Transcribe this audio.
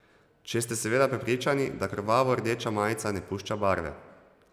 Če ste seveda prepričani, da krvavo rdeča majica ne pušča barve.